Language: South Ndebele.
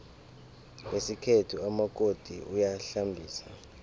ngesikhethu umakoti uyahlambisa